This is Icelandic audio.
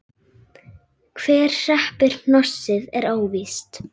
Hver hreppir hnossið er óvíst.